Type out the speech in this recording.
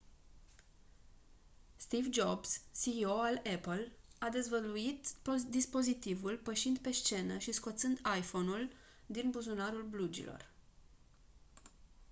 steve jobs ceo al apple a dezvăluit dispozitivul pășind pe scenă și scoțând iphone-ul din buzunarul blugilor